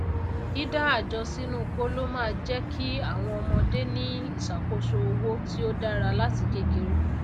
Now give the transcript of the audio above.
dídá àjọ sínú kóló máá jékí àwọn ọmọdé ní ìsàkóso owó tí ó dára láti kékeré